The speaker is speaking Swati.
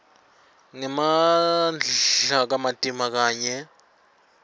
ngemandla kamatima kanye